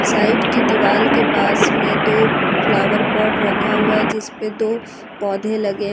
side की दीवाल के पास में दो फ्लावर पॉट रखा हुआ है जिसपे दो पौधे लगे--